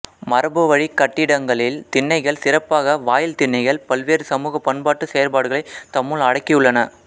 மரபுவழிக் கட்டிடங்களில் திண்ணைகள் சிறப்பாக வாயில் திண்ணைகள் பல்வேறு சமூக பண்பாட்டுச் செயற்பாடுகளைத் தம்முள் அடக்கியுள்ளன